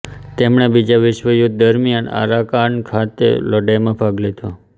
તેમણે બીજા વિશ્વયુદ્ધ દરમિયાન આરાકાન ખાતે લડાઈમાં ભાગ લીધો